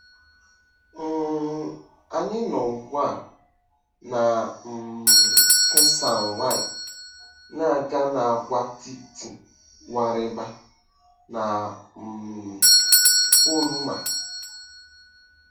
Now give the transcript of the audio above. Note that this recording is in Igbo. um Anyị nọ ugbu a na um Teisan-Y, na-aga n'agwaetiti Warraber na um Poruma.